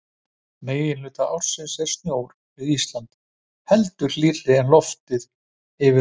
Meginhluta ársins er sjór við Ísland heldur hlýrri en loftið yfir honum.